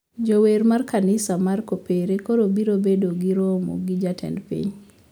Jower mar kanisa mar kopere koro biro bedo gi romo gi jatend piny